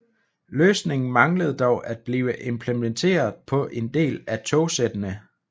Løsningen manglede dog at blive implementeret på en del af togsættene